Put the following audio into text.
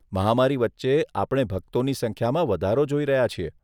મહામારી વચ્ચે આપણે ભક્તોની સંખ્યામાં વધારો જોઈ રહ્યા છીએ.